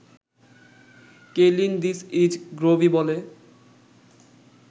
Kaylin ‘this is Grobi’ বলে